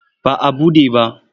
Ba a buɗe ba.